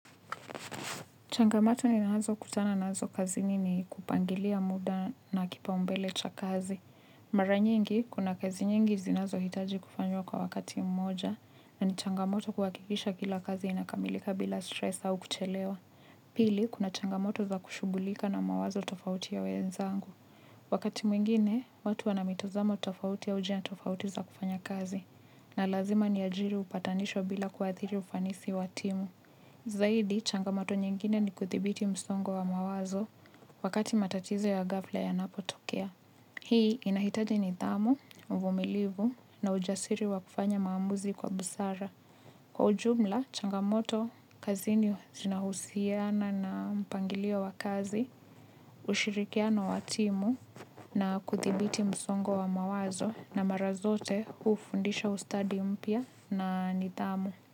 Changamoto ninazokutana nazo kazini ni kupangilia muda na kipaumbele cha kazi. Mara nyingi, kuna kazi nyingi zinazohitaji kufanywa kwa wakati mmoja, na ni changamoto kuhakikisha kila kazi inakamilika bila stress au kuchelewa. Pili, kuna changamoto za kushughulika na mawazo tofauti ya wenzangu. Wakati mwingine, watu wana mitizamo tofauti au njia tofauti za kufanya kazi, na lazima niajiri upatanisho bila kuathiri ufanisi wa timu. Zaidi, changamoto nyingine ni kuthibiti msongo wa mawazo wakati matatizo ya ghafla yanapotokea. Hii inahitaji nidhamu, uvumilivu na ujasiri wa kufanya maamuzi kwa busara. Kwa ujumla, changamoto, kazini zinahusiana na mpangilio wa kazi, ushirikiano wa timu na kuthibiti msongo wa mawazo na mara zote hufundisha ustadi mpya na nidhamu.